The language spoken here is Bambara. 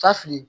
Ta fili